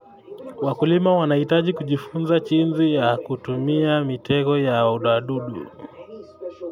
Wakulima wanahitaji kujifunza jinsi ya kutumia mitego ya wadudu.